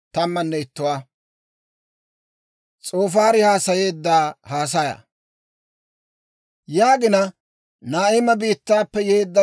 Naa'ima biittaappe yeedda S'oofaari zaariide, hawaadan yaageedda;